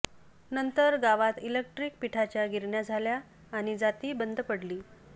ंनंतर गावात इलक्ट्रिक पिठाच्या गिरण्या झाल्या आणि जाती बंद पडली